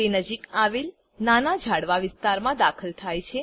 તે નજીક આવેલ નાના ઝાડવાં વિસ્તારમાં દાખલ થાય છે